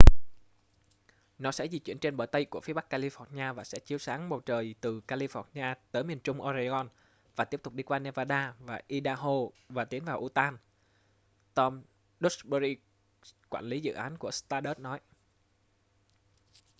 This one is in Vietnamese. nó sẽ di chuyển trên bờ tây của phía bắc california và sẽ chiếu sáng bầu trời từ california tới miền trung oregon và tiếp tục đi qua nevada và idaho và tiến vào utah tom duxbury quản lý dự án của stardust nói